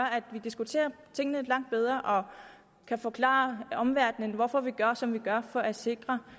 at vi diskuterer tingene langt bedre og kan forklare omverdenen hvorfor vi gør som vi gør for at sikre